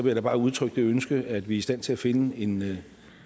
jeg da bare udtrykke det ønske at vi i stand til at finde